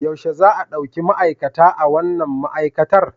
Yaushe za a ɗauki ma'aikata a wannan ma'aikatar?